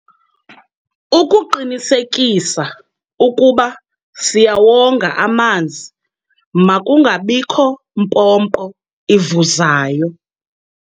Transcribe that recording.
Ukuqinisekisa ukuba siyawonga amanzi makungabikho mpompo ivuzayo.